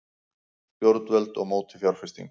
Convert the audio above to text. Stjórnvöld á móti fjárfestingu